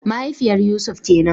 Mahaifiyar Yusuf kenan